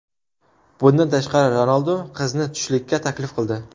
Bundan tashqari, Ronaldu qizni tushlikka taklif qildi.